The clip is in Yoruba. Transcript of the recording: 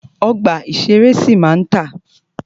Ọgbà ìṣẹ̀rẹ́ sì máa ma tà.